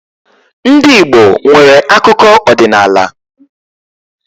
Ndị Igbo nwere akụkọ ọdinaala.